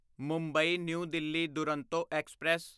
Mumbai new Delhi Duronto express